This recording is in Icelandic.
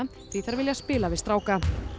því þær vilja spila við stráka